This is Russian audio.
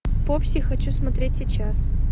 попси хочу смотреть сейчас